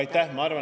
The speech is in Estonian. Aitäh!